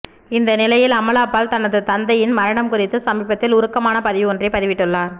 இந்த நிலையில் அமலா பால் தனது தந்தையின் மரணம் குறித்து சமீபத்தில் உருக்கமான பதிவு ஒன்றை பதிவிட்டுள்ளார்